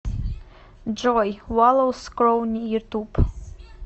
джой валлоус скроуни ютуб